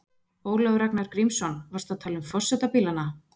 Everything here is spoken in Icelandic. Ólafur Ragnar Grímsson: Varstu að tala um forsetabílana?